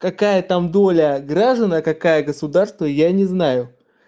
какая там доля граждан а какая государство я не знаю